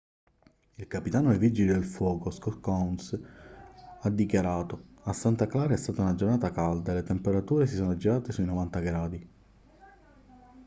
il capitano dei vigili del fuoco scott kouns ha dichiarato a santa clara è stata una giornata calda e le temperature si sono aggirate sui 90 gradi